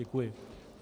Děkuji.